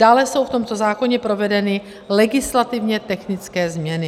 Dále jsou v tomto zákoně provedeny legislativně technické změny.